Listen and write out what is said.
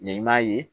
Ɲɛ in m'a ye